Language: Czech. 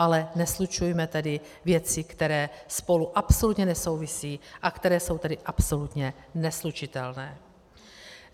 Ale neslučujme tedy věci, které spolu absolutně nesouvisí a které jsou tedy absolutně neslučitelné.